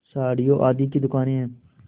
साड़ियों आदि की दुकानें हैं